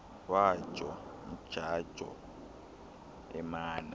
wajo mdjajo emana